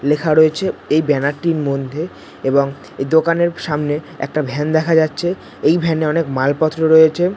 লেখা রয়েছে এই ব্যানার টির মধ্যে এবং এই দোকানের সামনে একটা ভ্যান দেখা যাচ্ছে এই ভ্যান এ অনেক মালপত্র রয়েছে।